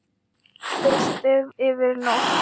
Frystið yfir nótt.